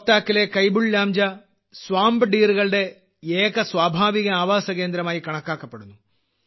ലോക്താക്കിലെ കൈബുൾലാംജാ swamp dear കളുടെ ഏക സ്വാഭാവിക ആവാസകേന്ദ്രമായി കണക്കാക്കപ്പെടുന്നു